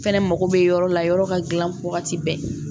Fɛnɛ mako be yɔrɔ la yɔrɔ ka gilan wagati bɛɛ